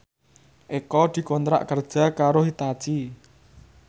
Eko dikontrak kerja karo Hitachi